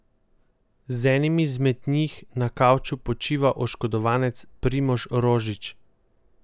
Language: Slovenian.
Za enimi izmed njih na kavču počiva oškodovanec Primož Rožič.